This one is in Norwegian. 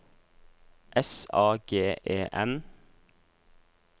S A G E N